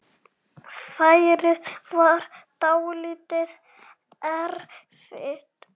Færið var dálítið erfitt.